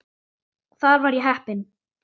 Þar var ég heppin.